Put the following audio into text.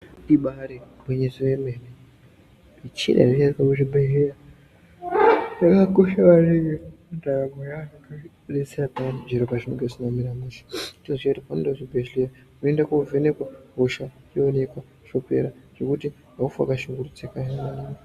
Ibaari gwinyiso remene michina inoshandiswa muzvibhedhlera yakakosha maningi mundaramo yevantu ngekuti inodetsera zviro pazvinenge zvisina kumira mushe. Chero paunoenda kuchibhedhlera unoenda wovhenekwa hosha yoonekwa yopera zvekuti aufi waka shungurudzika zve.